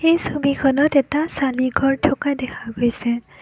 এই ছবিখনত এটা চালিঘৰ থকা দেখা গৈছে।